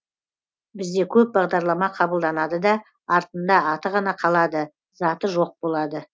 бізде көп бағдарлама қабылданады да артында аты ғана қалады заты жоқ болады